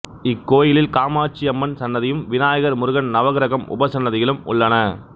இக்கோயிலில் காமாட்சியம்மன் சன்னதியும் விநாயகர் முருகன் நவகிரகம் உபசன்னதிகளும் உள்ளன